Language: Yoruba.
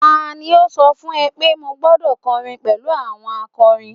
tani o so fun e pe mo gbọdọ kọrin pẹlu àwọn akọrin